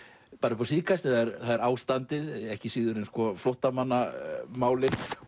upp á síðkastið það er ástandið ekki síður en flóttamannamálin